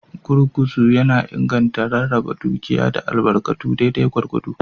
Gurguzu yana inganta rarraba dukiya da albarkatu daidai gwargwado.